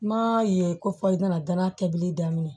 N m'a ye ko fɔ i nana danaya kɛ bili daminɛ